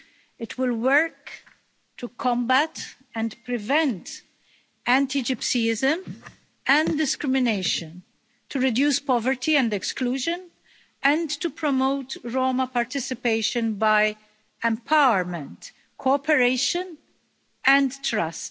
It will work to combat and prevent anti-Gypsyism and discrimination, to reduce poverty and exclusion and to promote Roma participation by empowerment, cooperation and trust.